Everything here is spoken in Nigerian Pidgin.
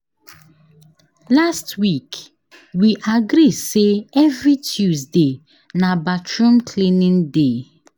Last week, we agree sey every Tuesday na bathroom cleaning day.